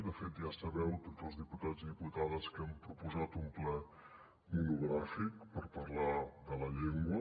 de fet ja sabeu tots els diputats i diputades que hem proposat un ple monogràfic per parlar de la llengua